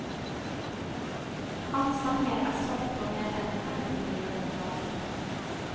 Hans sanger er solgt på mer enn femti millioner plater.